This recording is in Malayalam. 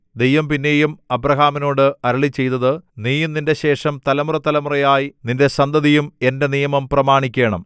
ദൈവം പിന്നെയും അബ്രാഹാമിനോടു അരുളിച്ചെയ്തത് നീയും നിന്റെ ശേഷം തലമുറതലമുറയായി നിന്റെ സന്തതിയും എന്റെ നിയമം പ്രമാണിക്കേണം